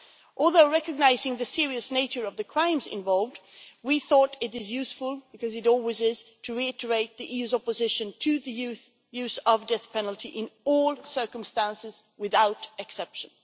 Although recognising the serious nature of the crimes involved, we thought it was useful, because it always is, to reiterate the EU's opposition to the use of the death penalty in all circumstances, without exception.